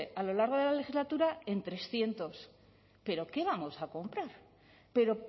a lo largo de la legislatura en trescientos pero quá vamos a comprar pero